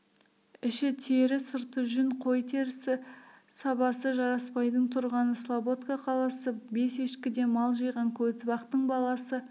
ішітері сырты жүн қой терісі сабасы жарасбайдың тұрғаны слабодка қаласы бес ешкіден мал жиған көтібақтың баласы